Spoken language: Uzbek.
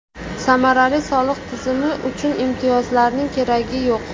Samarali soliq tizimi uchun imtiyozlarning keragi yo‘q.